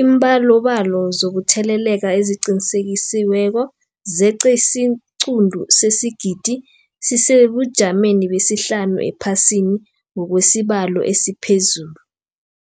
Iimbalobalo zokutheleleka eziqinisekisiweko zeqe isiquntu sesigidi, sisesebujameni besihlanu ephasini ngokwesibalo esiphezulu.